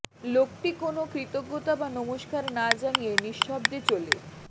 লোকটি কোনো কৃতজ্ঞতা বা নমস্কার না জানিয়ে নিঃশব্দে চলে